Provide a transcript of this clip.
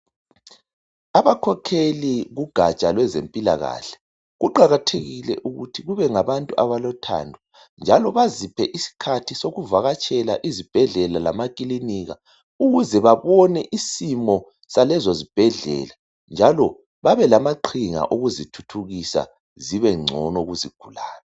abakhokheli kugatsha lwezempilakahle kuqhakathekle ukuthi kubengabantu abalothando njalo baziphe isikhathi sokuvakatshela izibhedlela lama kilinika kuze babone isimo salezo zibhedlela njalo babelama qhinga wokuzithuthukisa zibencono kuzigulane